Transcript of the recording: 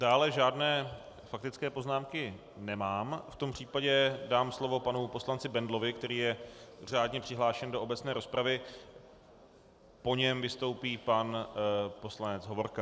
Dále žádné faktické poznámky nemám, v tom případě dám slovo panu poslanci Bendlovi, který je řádně přihlášen do obecné rozpravy, po něm vystoupí pan poslanec Hovorka.